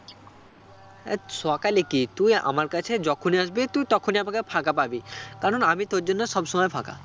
হাট সকালে কি তুই আমার কাছে যখনই আসবি তুই তখনই আমাকে ফাঁকা পাবি কারণ আমি তোর জন্য সব সময় ফাঁকা